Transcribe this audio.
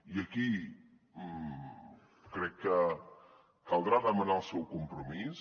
i aquí crec que caldrà demanar el seu compromís